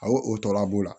Ayiwa o tɔra b'o la